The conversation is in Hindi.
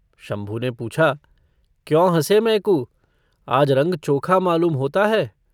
शंभू ने पूछा - क्यों हँसे? मैकू - आज रङ्ग चोखा मालूम होता है।